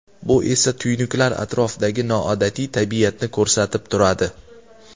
Bu esa tuynuklar atrofidagi noodatiy tabiatni ko‘rsatib turadi.